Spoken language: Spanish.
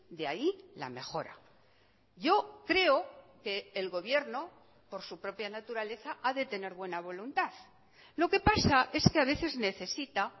de ahí la mejora yo creo que el gobierno por su propia naturaleza ha de tener buena voluntad lo que pasa es que a veces necesita